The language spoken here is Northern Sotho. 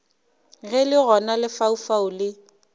ge le gona lefaufau le